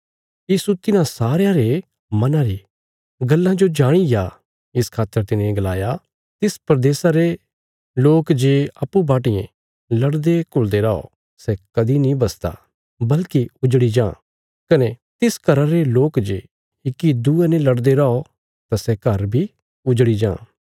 यीशु तिन्हां सारयां रे मना री गल्लां जो जाणिग्या इस खातर तिने गलाया तिस प्रदेशा रे लोक जे अप्पूँ बाटियें लड़देघुल़दे रौ सै कदीं नीं बसदा बल्कि उजड़ी जां कने तिस घरा रे लोक जे इक्की दूये ने लड़दे रौ तां सै घर बी उजड़ी जां